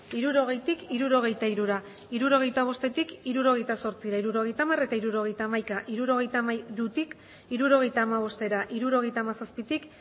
hirurogeitik hirurogeita hirura hirurogeita bostetik hirurogeita zortzira hirurogeita hamar eta hirurogeita hamaika hirurogeita hamairutik hirurogeita hamabostera hirurogeita hamazazpitik